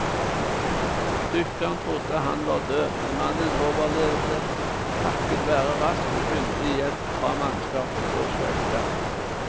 Dykkeren trodde han var død, men mannen overlevde takket være rask og kyndig hjelp fra mannskapet på skøyta.